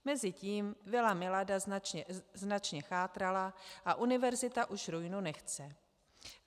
Mezitím vila Milada značně chátrala a univerzita už ruinu nechce.